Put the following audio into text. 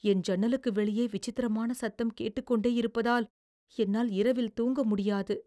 என் ஜன்னலுக்கு வெளியே விசித்திரமான சத்தம் கேட்டுக்கொண்டே இருப்பதால் என்னால் இரவில் தூங்க முடியாது.